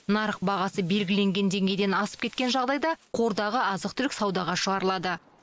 нарық бағасы белгіленген деңгейден асып кеткен жағдайда қордағы азық түлік саудаға шығарылады